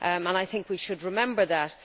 I think we should remember that.